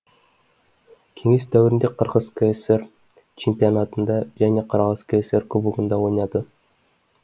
кеңес дәуірінде қырғыз кср чемпионатында және қырғыз кср кубогында ойнады